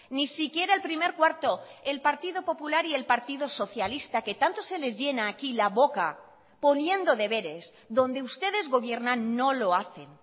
ni siquiera el primer cuarto el partido popular y el partido socialista que tanto se les llena aquí la boca poniendo deberes donde ustedes gobiernan no lo hacen